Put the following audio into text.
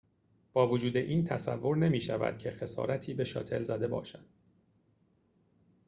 با وجود این تصور نمی‌شود که خسارتی به شاتل زده باشد